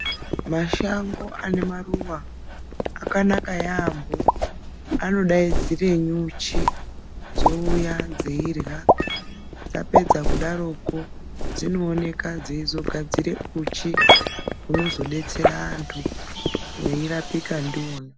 Mashango ane maruwa akanaka yaambo, anodaidzire nyuchi dzouya dzirya dzapedza kudaroko dzinooneka dzeizogadzira uchi unozodetsera antu weirapiwa ndiwona.